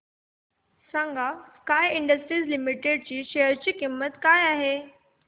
सांगा sky industries limited च्या share ची किंमत काय आहे